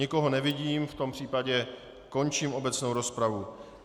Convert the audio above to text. Nikoho nevidím, v tom případě končím obecnou rozpravu.